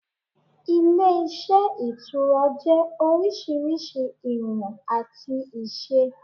Ilé iṣẹ́ Ìtura jẹ́ orísirísi ìwọ̀n àti ìṣe